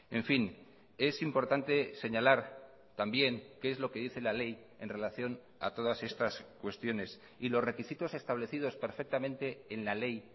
en fin es importante señalar también que es lo qué dice la ley en relación a todas estas cuestiones y los requisitos establecidos perfectamente en la ley